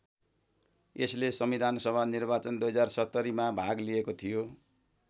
यसले संविधान सभा निर्वाचन २०७० मा भाग लिएको थियो।